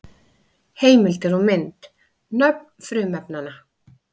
Heimildir og mynd: Nöfn frumefnanna.